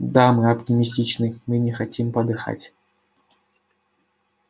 да мы оптимистичны мы не хотим подыхать